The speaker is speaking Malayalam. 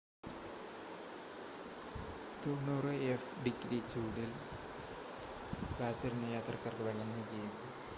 90എഫ്-ഡിഗ്രി ചൂടിൽ കാത്തിരുന്ന യാത്രക്കാർക്ക് വെള്ളം നൽകി